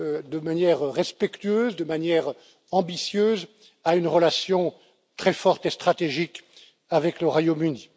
de manière respectueuse, de manière ambitieuse à une relation très forte et stratégique avec le Royaume Uni.